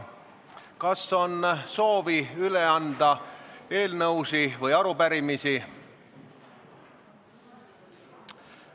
Kas on soovi üle anda eelnõusid või arupärimisi?